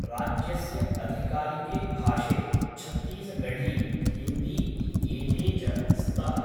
राज्यस्य अधिकारिके भाषे छत्तीसगढ़ी, हिन्दी इत्येते च स्तः।